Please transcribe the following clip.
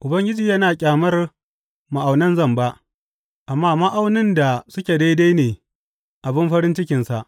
Ubangiji yana ƙyamar ma’aunan zamba, amma ma’aunin da suke daidai ne abin farin cikinsa.